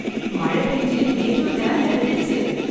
மழை பேஞ்சு மேட்டூர் டேம் நிறைஞ்சிடுச்சு.